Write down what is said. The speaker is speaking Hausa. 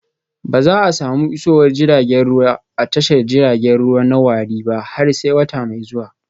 Ba za a samu isowar jiragen ruwa a tashar jiragen ruwa na warri ba har sai wata mai zuwa